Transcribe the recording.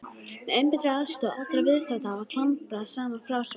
Með einbeittri aðstoð allra viðstaddra var klambrað saman frásögn.